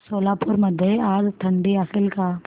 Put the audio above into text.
सोलापूर मध्ये आज थंडी असेल का